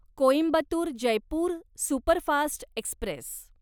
Coimbatore Jaipur superfast Express